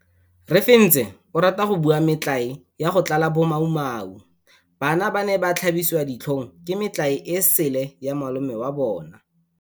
Refentse o rata go bua metlae ya go tlala bomaumau. Bana ba ne ba tlhabiswa ditlhong ke metlae e sele ya malome wa bona.